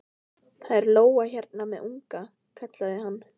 Það er lóa hérna með unga, kallaði hann.